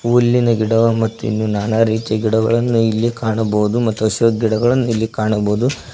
ಹುಲ್ಲಿನ ಗಿಡ ಮತ್ತು ಇಲ್ಲಿ ನನಾ ರೀತಿಯ ಗಿಡಗಳನ್ನು ಇಲ್ಲಿ ಕಾಣಬಹುದು ಮತ್ತು ಶೋ ಗಿಡಗಳನ್ನು ಇಲ್ಲಿ ಕಾಣಬಹುದು.